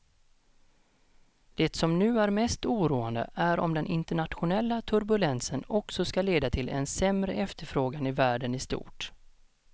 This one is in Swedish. Det som nu är mest oroande är om den internationella turbulensen också ska leda till en sämre efterfrågan i världen i stort.